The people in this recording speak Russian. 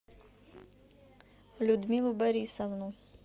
людмилу борисовну